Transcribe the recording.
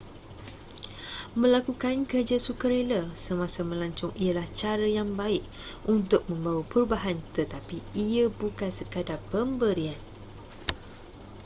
melakukan kerja sukarela semasa melancong ialah cara yang baik untuk membawa perubahan tetapi ia bukan sekadar pemberian